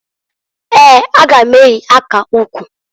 Eeǃ A ga m eyi aka ukwu.